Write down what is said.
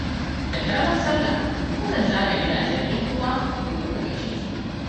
Da ƙaramar Sallah mukan zaga gidanjen 'yan uwa domin mu gaishe su.